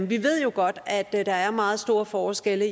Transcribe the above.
vi ved jo godt at der er meget store forskelle